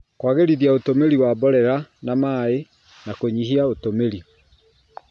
Kũagĩrithia ũtũmĩri wa mborera na maĩ, na kũnyihia ũtũmĩri